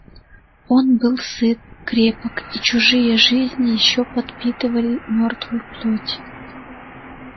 он был сыт крепок и чужие жизни ещё подпитывали мёртвую плоть